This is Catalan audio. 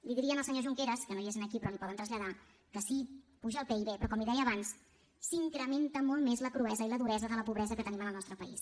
li diria al senyor junqueras que no és aquí però l’hi poden traslladar que sí apuja el pib però com li deia abans s’incrementa molt més la cruesa i la duresa de la pobresa que tenim en el nostre país